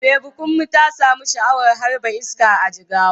Baby Kunmi ta samu sha'awar harba iska a Jigawa.